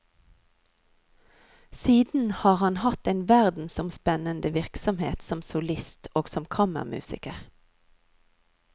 Siden har han hatt en verdensomspennende virksomhet som solist og som kammermusiker.